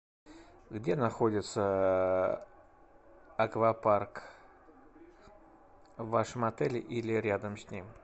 где находится аквапарк в вашем отеле или рядом с ним